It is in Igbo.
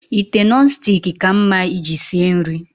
Ite Nọn stik ka mma iji sie nri